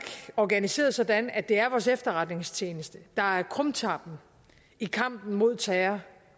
organiseret sådan at det er vores efterretningstjeneste der er krumtappen i kampen mod terror